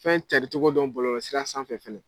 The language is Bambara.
Fɛn carincogo dɔn bɔlɔlɔsira sanfɛ fɛnɛ